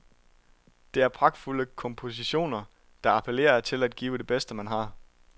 Det er pragtfulde kompositioner, der appellerer til at give det bedste, man har.